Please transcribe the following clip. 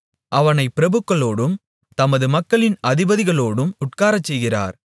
அவனைப் பிரபுக்களோடும் தமது மக்களின் அதிபதிகளோடும் உட்காரச்செய்கிறார்